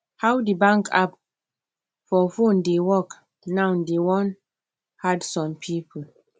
how the bank app for phone dey work now dey wan add some people